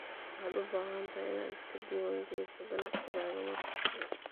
Waxaad u baahan tahay inaad iska diiwaan geliso ganacsigaaga marka hore.